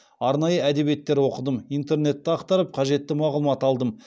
арнайы әдебиеттер оқыдым интернетті ақтарып қажетті мағлұмат алдым